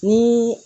Ni